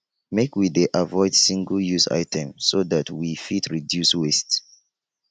make we dey avoid singleuse items so dat we fit reduce waste